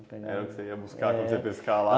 Era o que você ia buscar quando ia pescar lá?